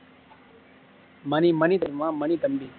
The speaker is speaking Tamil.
மணி மணி தெரிமா மணி தம்பி